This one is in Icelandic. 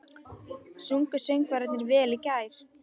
Sungu söngvararnir vel í gær?